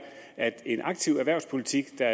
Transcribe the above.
at en aktiv erhvervspolitik der